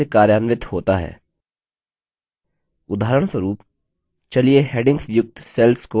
उदाहरणस्वरूप चलिए headings युक्त cells को background color देते हैं